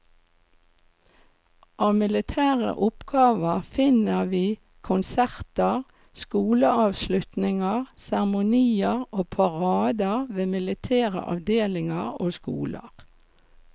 Av militære oppgaver finner vi konserter, skoleavslutninger, seremonier og parader ved militære avdelinger og skoler.